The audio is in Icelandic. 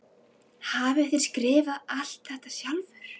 Hafið þér skrifað alt þetta sjálfur?